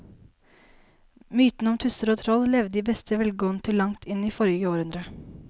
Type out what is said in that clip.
Mytene om tusser og troll levde i beste velgående til langt inn i forrige århundre.